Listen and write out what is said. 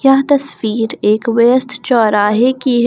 यह तस्वीर एक व्यस्त चौराहे की है।